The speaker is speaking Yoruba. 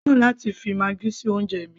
èmi kò fẹ́ràn fifi maggi sí oúnjẹ mi